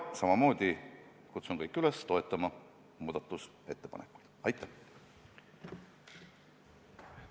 Minagi kutsun teid kõiki üles muudatusettepanekut toetama.